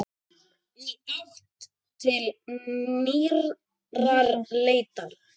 Í átt til nýrrar leitar.